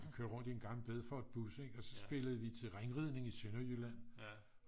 kørte rundt i en gammel bilford bus og så spillede vi terrænridning i Sønderjylland